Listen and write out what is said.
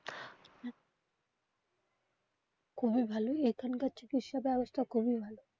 খুবই ভালো এখানকার চিকিৎসা ব্যবস্থা খুবই ভালো.